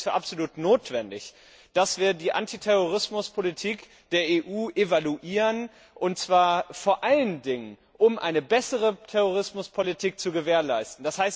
Ich halte es für absolut notwendig, dass wir die Antiterrorismuspolitik der EU evaluieren, und zwar vor allen Dingen, um eine bessere Terrorismuspolitik zu gewährleisten.